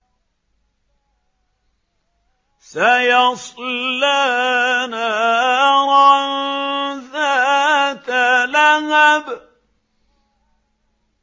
سَيَصْلَىٰ نَارًا ذَاتَ لَهَبٍ